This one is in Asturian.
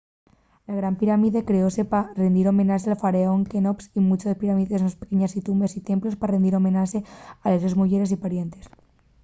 la gran pirámide creóse pa rindir homenaxe al faraón queops y muches pirámides más pequeñes tumbes y templos pa rindir homenaxe a les sos muyeres y parientes